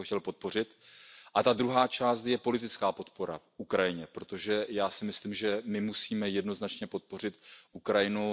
Já bych to chtěl podpořit. Ta druhá část je politická podpora Ukrajiny, protože já si myslím, že my musíme jednoznačně podpořit Ukrajinu.